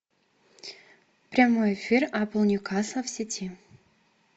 прямой эфир апл ньюкасл в сети